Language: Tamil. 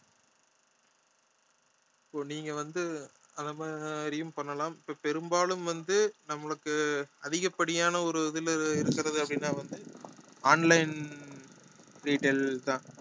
இப்போ நீங்க வந்து அந்த மாதிரியும் பண்ணலாம் இப்போ பெரும்பாலும் வந்து நம்மளுக்கு அதிகப்படியான ஒரு இதுல இருக்கிறது அப்படின்னா வந்து online retail தான்